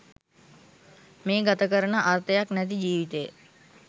මේ ගත කරන අර්ථයක් නැති ජීවිතය